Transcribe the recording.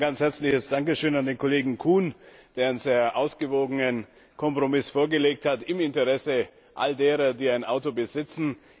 Zunächst einmal ein ganz herzliches Dankeschön an den Kollegen Kuhn, der einen sehr ausgewogenen Kompromiss vorgelegt hat im Interesse all derer, die ein Auto besitzen.